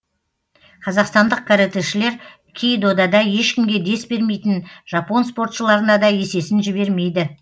қазақстандық каратэшілар кей додада ешкімге дес бермейтін жапон спортшыларына да есесін жібермейді